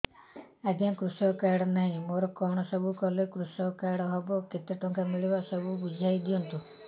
ଆଜ୍ଞା କୃଷକ କାର୍ଡ ନାହିଁ ମୋର କଣ ସବୁ କଲେ କୃଷକ କାର୍ଡ ହବ କେତେ ଟଙ୍କା ମିଳିବ ସବୁ ବୁଝାଇଦିଅନ୍ତୁ